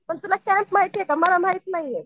पण तुला कॅम्प माहितीये का मला माहित नाहीये?